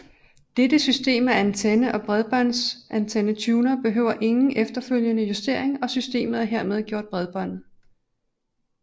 Dette system af antenne og bredbåndsantennetuner behøver ingen efterfølgende justering og systemet er hermed gjort bredbåndet